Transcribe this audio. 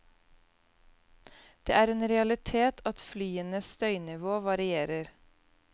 Det er en realitet at flyenes støynivå varierer.